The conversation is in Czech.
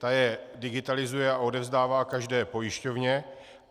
Ta je digitalizuje a odevzdává každé pojišťovně.